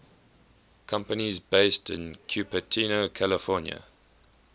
companies based in cupertino california